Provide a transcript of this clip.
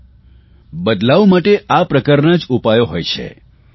જુવો બદલાવ માટે આ પ્રકારના જ ઉપાયો હોય છે